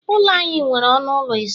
Ụlọ anyị nwere ọnụ ụlọ ise